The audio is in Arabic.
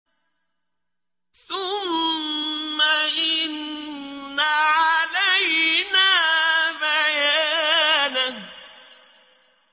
ثُمَّ إِنَّ عَلَيْنَا بَيَانَهُ